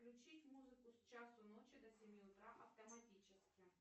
включить музыку с часу ночи до семи утра автоматически